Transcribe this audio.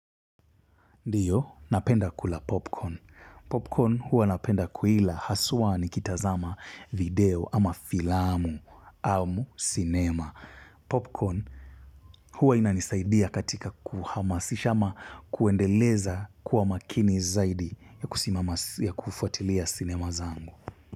Ndiyo, napenda kula popcorn. Popcorn huwa napenda kuila haswaa nikitazama video ama filamu, au, cinema. Popcorn huwa inanisaidia katika kuhamasishama kuendeleza kuwa makini zaidi ya kufuatilia cinema zangu.